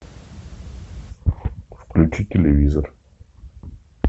включи телевизор